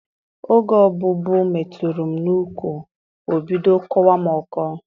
Oge ọbụbụụ metụrụ m n'ụkwụ, o bido kọwa m ọkọ.